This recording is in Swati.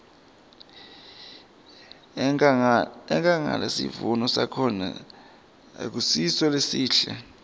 enkhangala sivuno sakhona akusiso lesihle